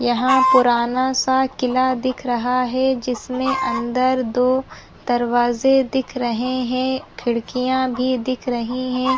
यहाँ पुराना सा किला दिख रहा है जिसमे अंदर दो दरवाज़े दिख रहे है खिड़कियाँ भी दिख रही है।